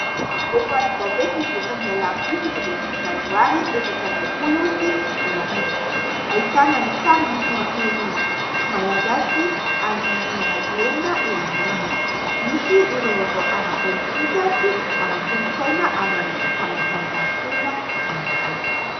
Voalohany gazety nivoaka ny alarobia fito ambin'ny folo janoary efatra amby roapolo sy roa arivo. Ahitana ny sary ny filoham-pirenena malagasy Andry Nirina Rajoelina eo amboniny. Misy ireo vaovao ara-pôlitika sy ara-kolontsaina ary ara-panatanjahantena ihany koa.